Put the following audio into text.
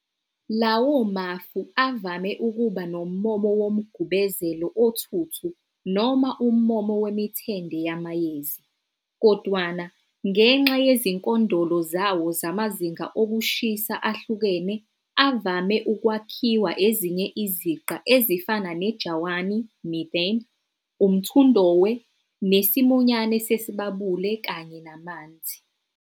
Lawo mafu, avame ukuba nommomo womgubezelo othuthu noma ummomo wemithende yamayezi. Kodwana, ngenxa yezinkondolo zawo zamazinga okushisa ahlukene, avame ukwakhiwa ezinye iziqa ezifana nejawani, "methane", umthundohwe, nesimunyane sesibabuli kanye namanzi.